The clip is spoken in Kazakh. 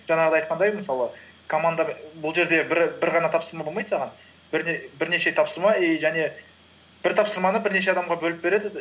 жаңағыдай айтқандай мысалы бұл жерде бір ғана тапсырма болмайды саған бірнеше тапсырма и және бір тапсырманы бірнеше адамға бөліп береді